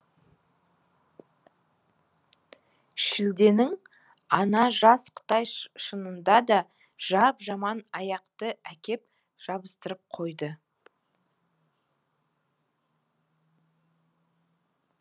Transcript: шілденің ана жас қытай шынында да жап жаман аяқты әкеп жабыстырып қойды